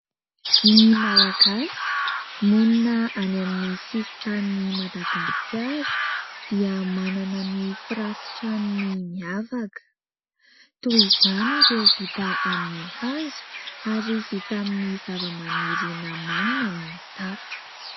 Ny malagasy monina any amin'ny sisin-tanin'ny Madagasikara dia manana ny firafi-trano miavaka. Toy izany ireo vita amin'ny hazo ary vita amin'ny zavamaniry nohamainina ny tafo.